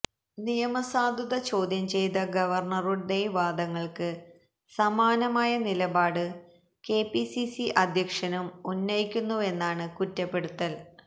നിയമസാധുത ചോദ്യം ചെയ്ത ഗവർണ്ണറുടെ വാദങ്ങൾക്ക് സമാനമായ നിലപാട് കെപിസിസി അധ്യക്ഷനും ഉന്നയിക്കുന്നുവെന്നാണ് കുറ്റപ്പെടുത്തൽ